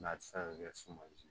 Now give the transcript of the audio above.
N'a ti se ka kɛ sumali ye